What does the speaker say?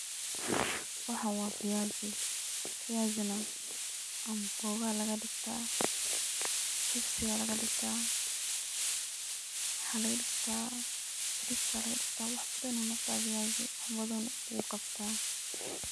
Waxan wa fayasi, fayasina amboga aya lagadigta, jibsi aya lagadigta waxa lagadigta ciribis aya lagadigta wax badan ayu noqda fayasi.